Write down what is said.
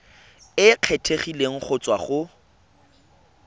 e kgethegileng go tswa go